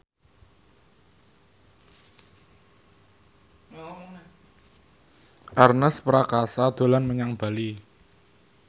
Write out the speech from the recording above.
Ernest Prakasa dolan menyang Bali